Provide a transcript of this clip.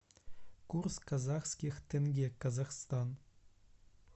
курс казахских тенге казахстан